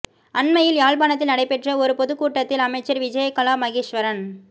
அண்மையில் யாழ்ப்பாணத்தில் நடைபெற்ற ஒரு பொதுக்கூட்டத்தில் அமைச்சர் விஜயகலா மகேஷ்வரன்